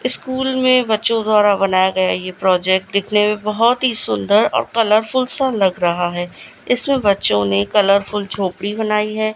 School में बच्चों द्वारा बनाया गया ये प्रोजेक्ट दिखने में बहोत ही सुंदर और कलरफुल सा लग रहा है इसमें बच्चों ने कलरफुल झोपड़ी बनाई है।